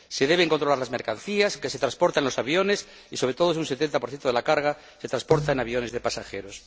Se deben controlar las mercancías que se transportan en los aviones y, sobre todo, si un 70 de la carga se transporta en aviones de pasajeros.